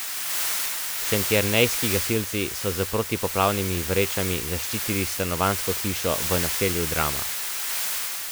Šentjernejski gasilci so s protipoplavnimi vrečami zaščitili stanovanjsko hišo v naselju Drama.